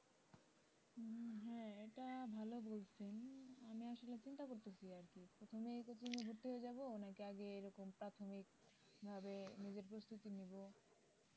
হ্যাঁ এটা ভাল বলসেন আমি আসলে চিন্তা করতেছি আর কি এখনই coaching এ ভর্তি হয়ে যাবো নাকি আগে এরকম প্রাথমিকভাবে নিজের প্রস্তুতি নিবো